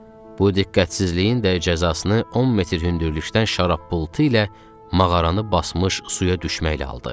Bu diqqətsizliyin də cəzasını 10 metr hündürlükdən şarabulduqla mağaranı basmış suya düşməklə aldı.